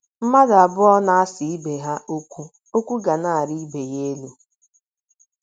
Mmadụ abụọ na - asa ibe ha okwu, okwu ga na - arị ibe ya elu.